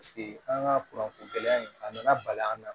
an ka kuranɛ gɛlɛya in a nana bali an na